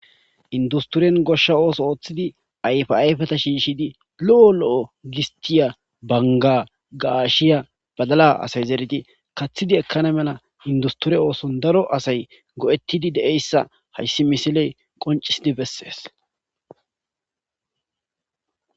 industoren goshsha ooso ooththidi ayfi ayfeta shiishidi lo7o lo7o gistiya banga gaashiya badala asay zeeridi kaththidi ekkana mela industore ooson daro asay go7ettidi de7eyssa hayssi misiley qoncisidi bessees